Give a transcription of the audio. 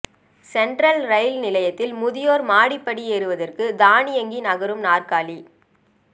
central ரயில் நிலையத்தில் முதியோர் மாடிப்படி ஏறுவதற்கு தானியங்கி நகரும் நாற்காலி